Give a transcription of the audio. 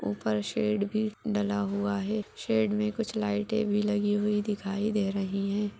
ऊपर शेड भी डला हुआ है शेड में कुछ लाइट भी लगी हुई दिखाई दे रही है।